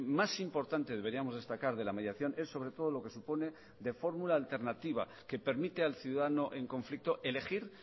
más importante deberíamos destacar de la mediación es sobre todo lo que supone de fórmula alternativa que permite al ciudadano en conflicto elegir